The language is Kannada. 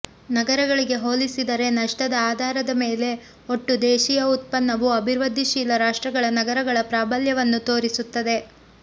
ನಗರಗಳಿಗೆ ಹೋಲಿಸಿದರೆ ನಷ್ಟದ ಆಧಾರದ ಮೇಲೆ ಒಟ್ಟು ದೇಶೀಯ ಉತ್ಪನ್ನವು ಅಭಿವೃದ್ಧಿಶೀಲ ರಾಷ್ಟ್ರಗಳ ನಗರಗಳ ಪ್ರಾಬಲ್ಯವನ್ನು ತೋರಿಸುತ್ತದೆ